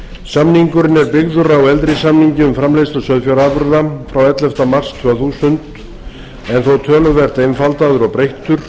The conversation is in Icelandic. samningurinn er byggður á eldri samningi um framleiðslu sauðfjárafurða frá elleftu mars tvö þúsund en þó töluvert einfaldaður og breyttur